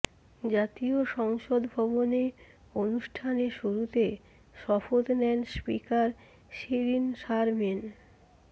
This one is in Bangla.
জাতীয় সংসদ ভবনে অনুষ্ঠানে শুরুতে শপথ নেন স্পিকার শিরিন শারমিন